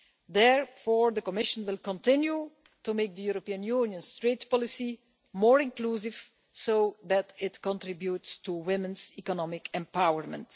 Therefore, the Commission will continue to make the European Union's trade policy more inclusive so that it contributes to women's economic empowerment.